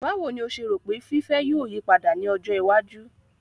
Báwo ni o ṣe rò pé fiífẹ́ yóò yí padà ní ọjọ iwájú?